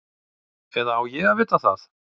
Eða á ég að vita það?